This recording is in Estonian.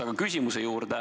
Aga küsimuse juurde.